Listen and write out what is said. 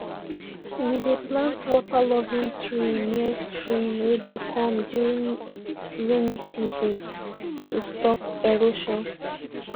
we dey plant waterloving tree near stream wey dey come during rainy season to stop erosion